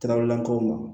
Karaw lakɔw ma